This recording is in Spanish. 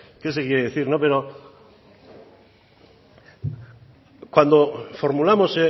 sé qué se quiere pero cuando hemos formulados